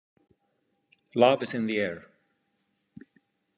Love is in the air.